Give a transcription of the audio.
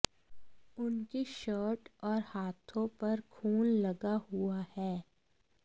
उनकी शर्ट और हाथों पर खून लगा हुआ है